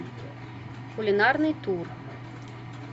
кулинарный тур